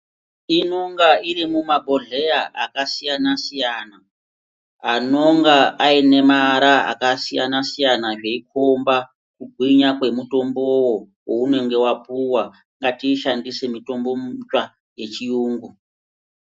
Inonga iri mumabhohleya akasiyana siyana anonga aine mara akasiyana siyana zveikomba kugwinya kwemutombowo waunenge wapuwa ngatiishandise mitombo mutsva yechiyungu.